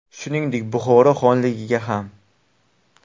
Shuningdek, Buxoro xonligiga ham.